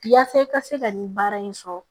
Yaasa i ka se ka nin baara in sɔrɔ